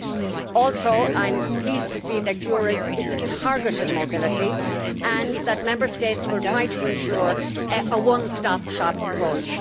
I am also pleased to see that EURES is a target for mobility and that Member States will try to ensure a one stop shop approach.